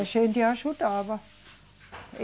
A gente ajudava.